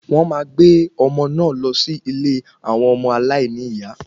Wón máa gbé ọmọ náà lọ sí ilé àwọn ọmọ aláìní ìyá